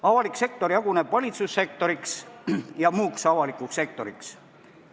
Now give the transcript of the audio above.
Avalik sektor jaguneb valitsussektoriks ja muuks avalikuks sektoriks.